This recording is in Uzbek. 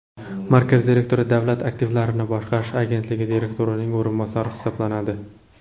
Markaz direktori Davlat aktivlarini boshqarish agentligi direktorining o‘rinbosari hisoblanadi.